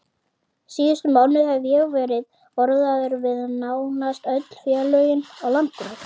Síðustu mánuði hef ég verið orðaður við nánast öll félögin á landinu.